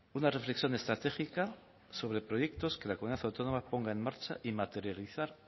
una reflexión estratégica sobre proyectos que la comunidad autónoma ponga en marcha y materializar